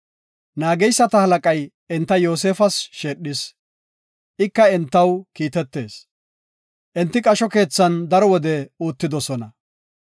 Naageyseta halaqay enta Yoosefas sheedhis, ika entaw kiitetees. Enti qasho keethan daro wode uttidosona.